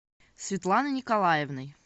светланой николаевной